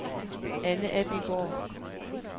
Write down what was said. Anne Abildgaard